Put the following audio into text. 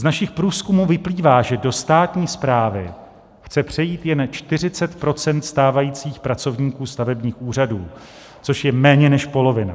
Z našich průzkumů vyplývá, že do státní správy chce přejít jen 40 % stávajících pracovníků stavebních úřadů, což je méně než polovina.